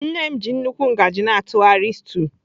Nne m ji nnukwu ngaji na-atụgharị stew.